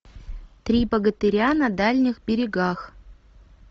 три богатыря на дальних берегах